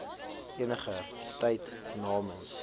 eniger tyd namens